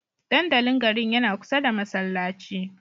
Dandalin garin yana kusa da masallaci